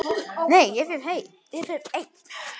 Nei, ég fer einn!